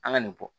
An ka nin bɔ